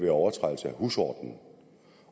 af overtrædelse af husordenen